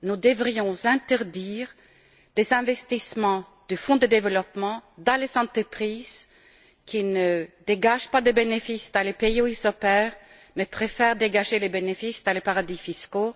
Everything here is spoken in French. Nous devrions interdire les investissements du Fonds de développement dans les entreprises qui ne dégagent pas de bénéfices dans les pays où elles opèrent, mais préfèrent dégager des bénéfices dans les paradis fiscaux.